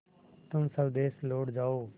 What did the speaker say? तुम स्वदेश लौट जाओ